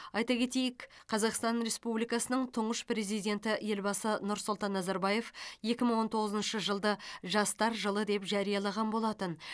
айта кетейік қазақстан республикасының тұңғыш президенті елбасы нұрсұлтан назарбаев екі мың он тоғызыншы жылды жастар жылы деп жариялаған болатын